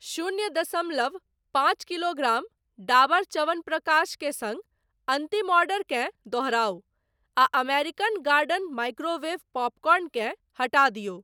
शून्य दशमलव पाँच किलोग्राम डाबर च्यवनप्रकाश के सङ्ग अन्तिम ऑर्डरकेँ दोहराउ आ अमेरिकन गार्डन माइक्रोवेव पॉपकॉर्न केँ हटा दियौ।